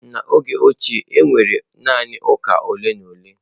N’oge ochie, e nwere naanị ụka ole na ole.